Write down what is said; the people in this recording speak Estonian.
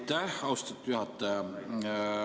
Aitäh, austatud juhataja!